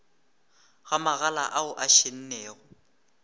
ga magala ao a šennego